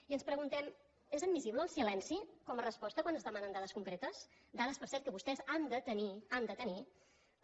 i ens preguntem és admissible el silenci com a resposta quan es demanen dades concretes dades per cert que vostès han de tenir han de tenir les